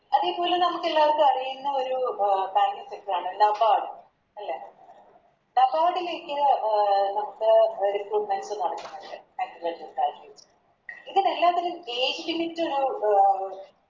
അതേപോലെ നമുക്കെല്ലാവർക്കും അറിയുന്നേ ഒരു ആണ് ലേക്ക് അഹ് Recruitments നടക്ക്ന്ന്ണ്ട് Agriculture വിഭാഗത്തില് ഇതിലെല്ലാത്തിലും Age limit